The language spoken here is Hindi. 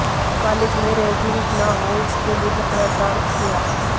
कॉलेज में रैगिंग ना हो इसके लिए पत्राचार किया